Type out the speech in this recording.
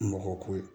Mɔgɔ ko ye